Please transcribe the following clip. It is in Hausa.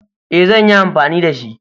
E, zan yi anfani da shi.